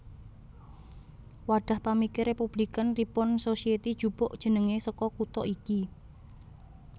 Wadhah pamikir Républikan Ripon Society njupuk jenengé saka kutha iki